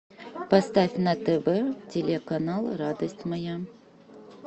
поставь на тв телеканал радость моя